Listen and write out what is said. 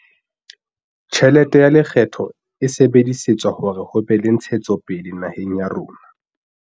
Tjhelete ya lekgetho e sebedisetswa hore ho be le ntshetsopele naheng ya rona.